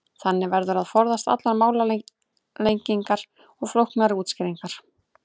Þannig verður að forðast allar málalengingar og flóknari útskýringar.